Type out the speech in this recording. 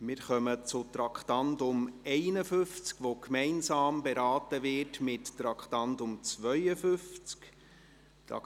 Wir kommen zum Traktandum 51, das gemeinsam mit dem Traktandum 52 beraten wird.